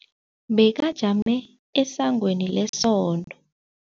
Bekajame esangweni lesonto.